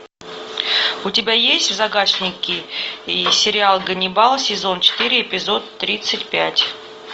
у тебя есть в загашнике сериал ганнибал сезон четыре эпизод тридцать пять